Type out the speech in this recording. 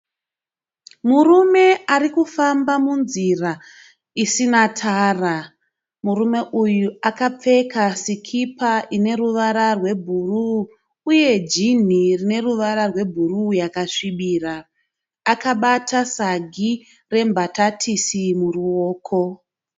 Murume ari kufamba munzira isina tara. Murume uyu akapfeka sikipa ine ruvara rwebhuruu uye jinhi rine ruvara rwebhuruu yakasvibira. Akabata sagi rembatatisi muruoko.